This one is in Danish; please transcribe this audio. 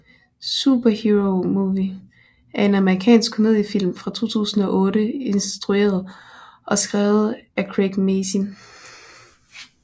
Superhero Movie er en amerikansk komediefilm fra 2008 instrueret og skrevet af Craig Mazin